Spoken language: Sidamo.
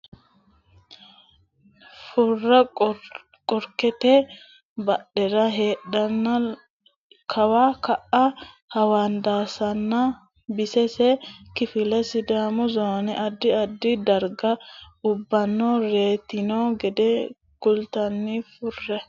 Furra qorkete badhera heedheenna kawa ka a hawandaassanna bisise kifilla Sidaamu zoone addi addi darga ubbanna reytino gede kullanni Furra.